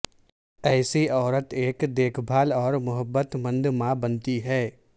ایسی عورت ایک دیکھ بھال اور محبت مند ماں بنتی ہے